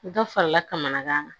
Dɔ farala kamanagan kan